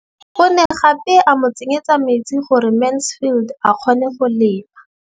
O ne gape a mo tsenyetsa metsi gore Mansfield a kgone go lema.